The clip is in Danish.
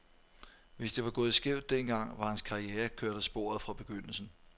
Hvis det var gået skævt den gang, var hans karriere kørt af sporet fra begyndelsen.